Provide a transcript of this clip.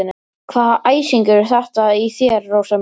Hvaða æsingur er þetta í þér, Rósa mín?